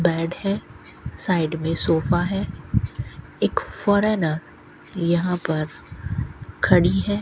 Bed है side मे sofa है एक फॉरेनर यहां पर खड़ी है।